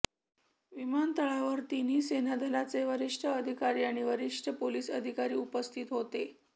विमानतळावर तिन्ही सेनादलाचे वरिष्ठ अधिकारी आणि वरिष्ठ पोलीस अधिकारी उपस्थित होते